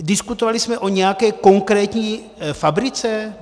Diskutovali jsme o nějaké konkrétní fabrice?